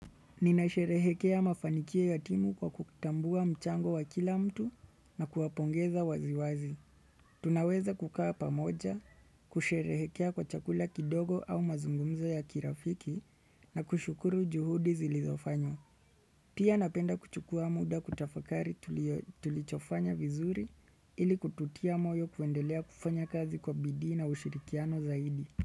Ninasherehekea mafanikio ya timu kwa kutambua mchango wa kila mtu na kuwapongeza waziwazi. Tunaweza kukaa pamoja, kusherehekea kwa chakula kidogo au mazungumzo ya kirafiki na kushukuru juhudi zilizofanywa. Pia napenda kuchukua muda kutafakari tulichofanya vizuri ili kututia moyo kuendelea kufanya kazi kwa bidii na ushirikiano zaidi.